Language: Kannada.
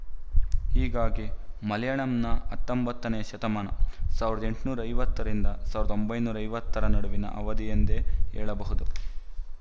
ಹೀಗಾಗಿ ಮಲಯಾಳಂನ ಹತ್ತೊಂಬತ್ತನೆ ಶತಮಾನ ಸಾವಿರದ ಎಂಟುನೂರ ಐವತ್ತು ಸಾವಿರದ ಒಂಬೈನೂರ ಐವತ್ತುರ ನಡುವಿನ ಅವಧಿಯೆಂದೇ ಹೇಳಬಹುದು